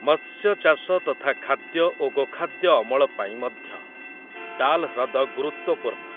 ମତ୍ସ୍ୟଚାଷ ତଥା ଖାଦ୍ୟ ଓ ଗୋଖାଦ୍ୟ ଅମଳ ପାଇଁ ମଧ୍ୟ ଡାଲ୍ ହ୍ରଦ ଗୁରୁତ୍ୱପୂର୍ଣ୍ଣ ।